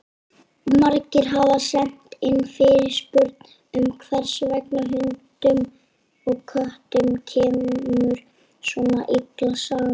Margir hafa sent inn fyrirspurn um hvers vegna hundum og köttum kemur svona illa saman.